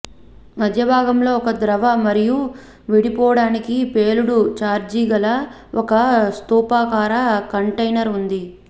మధ్యభాగంలో ఒక ద్రవ మరియు విడిపోవడానికి పేలుడు చార్జి గల ఒక స్థూపాకార కంటైనర్ ఉంది